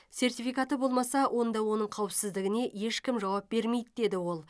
сертификаты болмаса онда оның қауіпсіздігіне ешкім жауап бермейді деді ол